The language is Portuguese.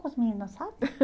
Com as meninas, sabe?